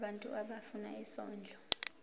abantu abafuna isondlo